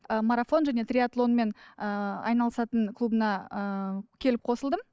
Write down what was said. ы марафон және триатлонмен ыыы айналысатын клубына ыыы келіп қосылдым